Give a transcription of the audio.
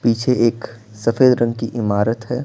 पीछे एक सफेद रंग की इमारत है।